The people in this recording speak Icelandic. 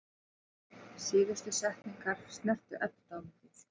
Síðustu setningarnar snertu Eddu dálítið.